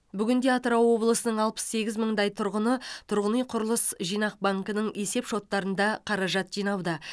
бүгінде атырау облысының алпыс сегіз мыңдай тұрғыны тұрғын үй құрылыс жинақ банкінің есеп шоттарында қаражат жинауда